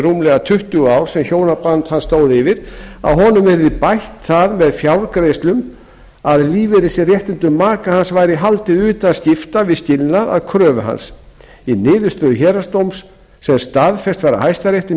rúmlega tuttugu ár sem hjónaband hans stóð yfir að honum yrði bætt það með fjárgreiðslum að lífeyrisréttindum maka hans væri haldið utan skipta við skilnaðinn að kröfu hans í niðurstöðu héraðsdóms sem staðfest var af hæstarétti